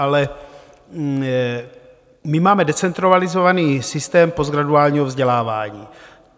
Ale my máme decentralizovaný systém postgraduálního vzdělávání.